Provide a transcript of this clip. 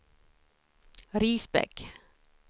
Risbäck